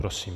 Prosím.